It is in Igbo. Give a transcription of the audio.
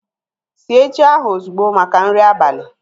Sie ji ahu ozugbo maka nri abali!